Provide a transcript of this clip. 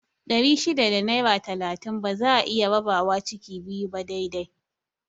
Ɗari shida da naira talatin ba za'a iya rabawa ciki biyu ba dai dai